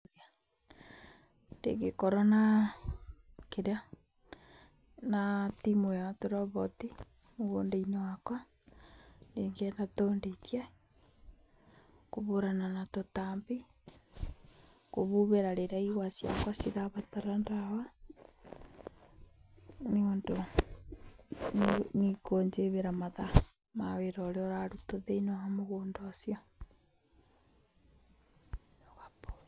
Ingĩkorwo na kĩrĩa na timu ĩo ya tũroboti mũgũnda-inĩ wakwa, notũndeithie kũhũrana na tũtambi, kũhuhĩra rĩrĩa igwa ciakwa cirabatara ndawa , nĩikũnjigĩra mathaa ma wĩra ũrĩa ũrarutwo mũgũnda-inĩ ũcio.